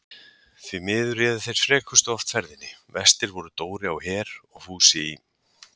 Því miður réðu þeir frekustu oft ferðinni, verstir voru Dóri á Her og Fúsi í